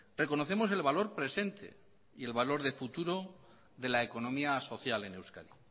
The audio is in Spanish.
reconocemos el valor presente y el valor de futuro de la economía social en euskadi